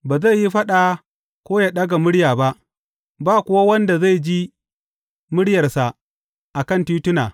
Ba zai yi faɗa ko yă ɗaga murya ba, ba kuwa wanda zai ji muryarsa a kan tituna.